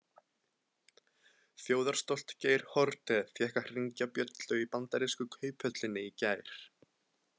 Þjóðarstolt Geir Haarde fékk að hringja bjöllu í bandarísku kauphöllinni í gær.